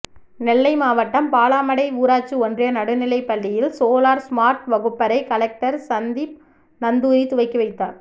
நெல்லை மாவட்டம் பாலாமடை ஊராட்சி ஒன்றிய நடுநிலைப்பள்ளியில் சோலார் ஸ்மார்ட் வகுப்பறை கலெக்டர் சந்தீப் நந்தூரி துவக்கி வைத்தார்